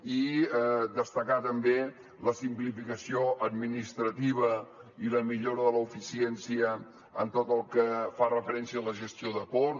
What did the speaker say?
i destacar també la simplificació administrativa i la millora de l’eficiència en tot el que fa referència a la gestió de ports